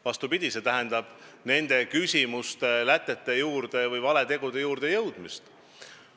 Vastupidi, see tähendab probleemide või valede tegude lätete juurde jõudmist.